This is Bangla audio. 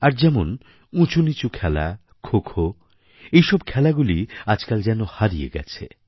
আর যেমন উঁচুনীচু খেলা খোখো এইসব খেলাগুলি আজকাল যেন হারিয়ে গেছে